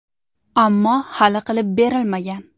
Ammo hali qilib berilmagan.